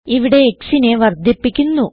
ഇവിടെ xനെ വർദ്ധിപ്പിക്കുന്നു